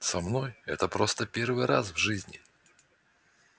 со мной это просто первый раз в жизни